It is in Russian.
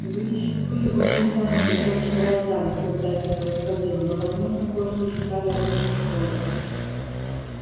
вы ещё были очень заняты тем что рождались когда это происходило но возможно кое-что читали об этом в школе